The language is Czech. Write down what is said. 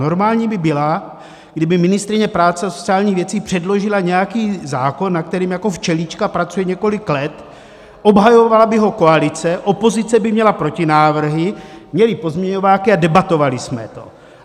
Normální by byla, kdyby ministryně práce a sociálních věcí předložila nějaký zákon, na kterém jako včelička pracuje několik let, obhajovala by ho koalice, opozice by měla protinávrhy, měli pozměňováky a debatovali jsme to.